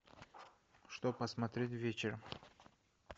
что посмотреть вечером